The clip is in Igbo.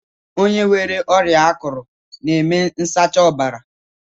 Onye nwere ọrịa akụrụ n'eme nsacha ọbara